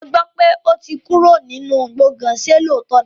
Mo gbọ́ pé ó ti kúrò nínú gbọ̀gán, ṣe lóòótọ́ ni?